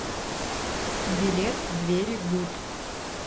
билет двери гуд